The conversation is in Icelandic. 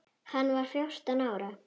Hann var fjórtán ára.